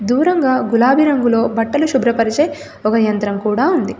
దూరంగా గులాబి రంగులో బట్టలు శుభ్రపరిచే ఒక యంత్రం కూడా ఉంది.